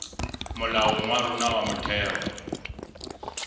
molaong wa rona wa motheo